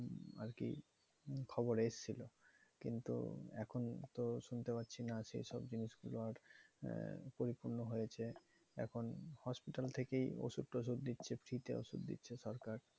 আরকি খবরে এসেছিলো। কিন্তু এখন তো শুনতে পারছি না সেইসব জিনিগুলো আর আহ পরিপূর্ণ হয়েছে। এখন hospital থেকেই ওষুধ টষুধ দিচ্ছে free তে ওষুধ দিচ্ছে সরকার।